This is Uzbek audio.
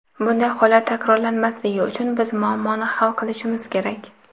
Bunday holat takrorlanmasligi uchun biz muammoni hal qilishimiz kerak .